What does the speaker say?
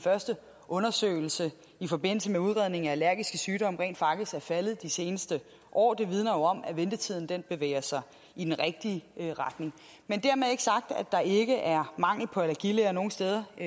første undersøgelse i forbindelse med udredning af allergiske sygdomme rent faktisk er faldet de seneste år det vidner jo om at ventetiden bevæger sig i den rigtige retning men dermed ikke sagt at der ikke er mangel på allergilæger nogle steder i